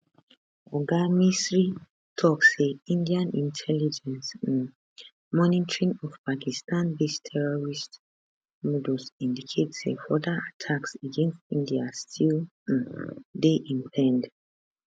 oga misri tok say indian intelligence um monitoring of pakistanbased terrorist modules indicate say further attacks against india still um dey impend